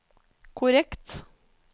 korrekt